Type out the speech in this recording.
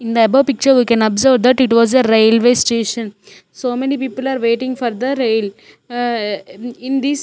in the above picture we can observe that it was a railway station so many people are waiting for the rail a in this --